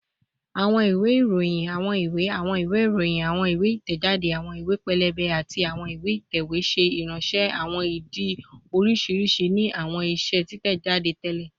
Awọn iwe iroyin, awọn iwe, awọn iwe iroyin, awọn iwe itẹjade, awọn iwe pẹlẹbẹ, ati awọn iwe itẹwe ṣe iranṣẹ awọn idi oriṣiriṣi ni awọn iṣe titẹjade tẹlẹ